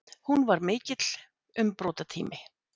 Hún var mikill umbrotatími.